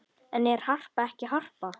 En er Harpa ekki Harpa?